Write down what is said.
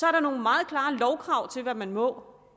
er der nogle meget klare lovkrav til hvad man må